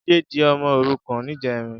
Jide di òmò órúkàn nijèrín